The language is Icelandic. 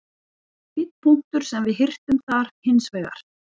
Fínn punktur sem við hirtum þar hins vegar.